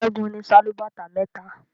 Segun ní Sálúbàtà méta.